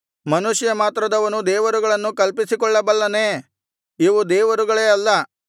ಮನುಷ್ಯ ಮಾತ್ರದವನು ದೇವರುಗಳನ್ನು ಕಲ್ಪಿಸಿಕೊಳ್ಳಬಲ್ಲನೇ ಇವು ದೇವರುಗಳೇ ಅಲ್ಲ